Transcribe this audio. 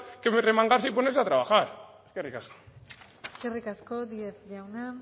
que remangarse y ponerse a trabajar eskerrik asko eskerrik asko díez jauna